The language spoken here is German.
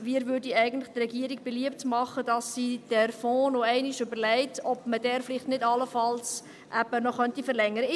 Wir machen der Regierung beliebt, noch einmal zu überlegen, ob man den Fonds nicht allenfalls noch einmal verlängern könnte.